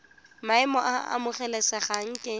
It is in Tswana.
maemo a a amogelesegang ke